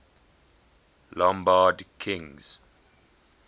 lombard kings